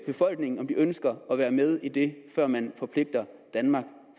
befolkningen om de ønsker at være med i det før man forpligter i danmark